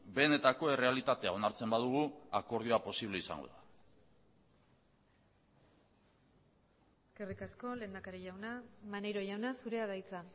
benetako errealitatea onartzen badugu akordioa posible izango da eskerrik asko lehendakari jauna maneiro jauna zurea da hitza